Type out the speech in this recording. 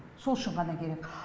сол үшін ғана керек